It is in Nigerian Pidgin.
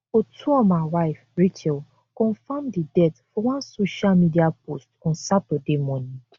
otuoma wife racheal confam di death for one social media post on saturday morning